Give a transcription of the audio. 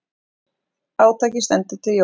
Átakið stendur til jóla.